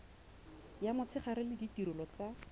ya motshegare le ditirelo tsa